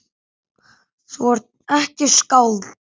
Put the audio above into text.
Þú ert ekkert skáld.